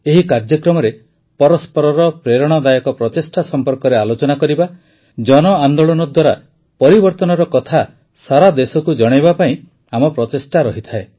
ଏହି କାର୍ଯ୍ୟକ୍ରମରେ ପରସ୍ପରର ପ୍ରେରଣାଦାୟକ ପ୍ରଚେଷ୍ଟା ସମ୍ପର୍କରେ ଆଲୋଚନା କରିବା ଜନ ଆନ୍ଦୋଳନ ଦ୍ୱାରା ପରିବର୍ତ୍ତନର କଥା ସାରାଦେଶକୁ ଜଣାଇବା ପାଇଁ ଆମ ପ୍ରଚେଷ୍ଟା ରହିଥାଏ